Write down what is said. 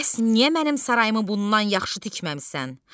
Bəs niyə mənim sarayımı bundan yaxşı tikməmisən?